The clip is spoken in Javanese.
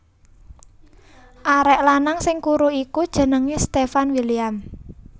Arek lanang sing kuru iku jenenge Stefan William